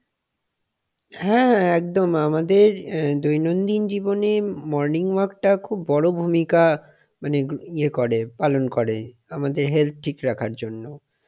হ্যাঁ হ্যাঁ একদম আমাদের অ্যাঁ দৈনন্দিন জীবনে morning walk টা একটা খুব বড় ভূমিকা মানে ইয়ে করে পালন করে আমাদের health ঠিক রাখার জন্য,